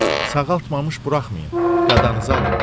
Sağaltmamış buraxmayın, qadanızı alım.